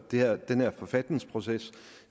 den her forfatningsproces